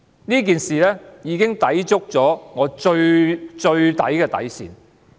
這件事情已抵觸我的底線。